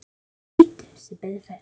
Þeir hlýddu, sem betur fer